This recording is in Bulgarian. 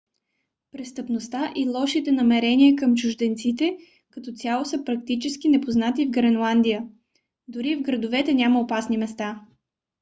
престъпността и лошите намерения към чужденците като цяло са практически непознати в гренландия. дори в градовете няма опасни места